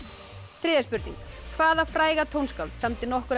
þriðja spurning hvaða fræga tónskáld samdi nokkur af